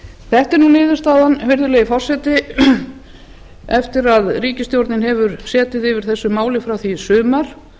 þetta er nú niðurstaðan virðulegi forseti eftir að ríkisstjórnin hefur setið yfir þessu máli frá því í sumar